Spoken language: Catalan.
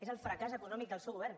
és el fracàs econòmic del seu govern